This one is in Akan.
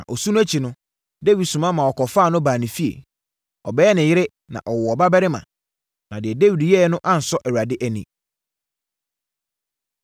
Na osu no akyi no, Dawid soma ma wɔkɔfaa no baa ne fie. Ɔbɛyɛɛ ne yere, na ɔwoo ɔbabarima. Na deɛ Dawid yɛeɛ no ansɔ Awurade ani.